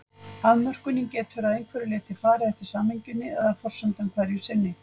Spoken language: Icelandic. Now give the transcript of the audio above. Afmörkunin getur að einhverju leyti farið eftir samhenginu eða forsendum hverju sinni.